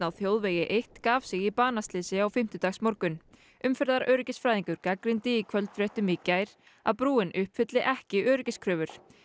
á þjóðvegi eitt gaf sig í banaslysi á fimmtudagsmorgun gagnrýndi í kvöldfréttum í gær að brúin uppfylli ekki öryggiskröfur